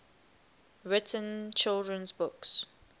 written children's books